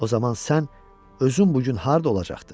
O zaman sən özün bu gün harda olacaqdın?